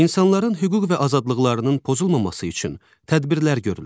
İnsanların hüquq və azadlıqlarının pozulmaması üçün tədbirlər görülür.